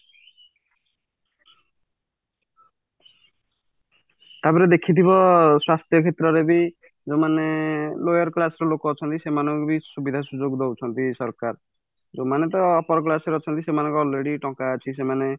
ତାପରେ ସ୍ୱାସ୍ଥ୍ୟ କ୍ଷେତ୍ରରେ ବି ଯୋଉମାନେ lower class ର ଲୋକ ଅଛନ୍ତି ସେମାନଙ୍କୁ ବି ସୁବିଧା ସୁଯୋଗ ଦଉଛନ୍ତି ସରକାର ଯୋଉମାନେ ତ upper class ରେ ଅଛନ୍ତି ସେଇମାନଙ୍କର already ଟଙ୍କା ଅଛି ସେଇମାନେ